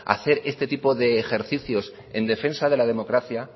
hacer este tipo de ejercicios en defensa de la democracia